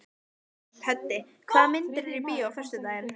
Höddi, hvaða myndir eru í bíó á föstudaginn?